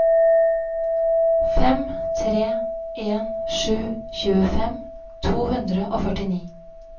fem tre en sju tjuefem to hundre og førtini